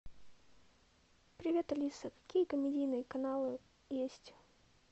привет алиса какие комедийные каналы есть